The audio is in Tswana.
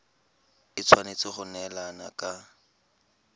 e tshwanetse go neelana ka